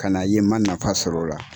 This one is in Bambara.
Kana a ye n ma nafa sɔrɔ o la.